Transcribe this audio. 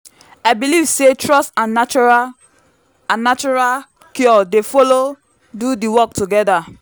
i believe say trust and natural and natural cure dey follow do the work together.